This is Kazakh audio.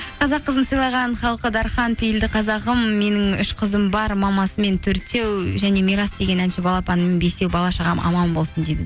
қазақ қызын сыйлаған халқы дархан пейілді қазағым менің үш қызым бар мамасымен төртеу және мирас деген әнші балапаным бесеу бала шағам аман болсын дейді